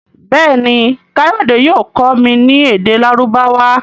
Béèni kayode yóò kọ mí ní èdè Lárúbáwá.